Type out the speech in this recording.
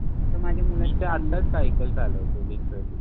आता माझ्या मुलाच्या